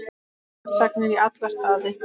Villtar sagnir í alla staði.